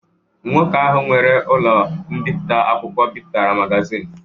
Nwoke ahụ nwere ụlọ mbipụta akwụkwọ bipụtara magazin.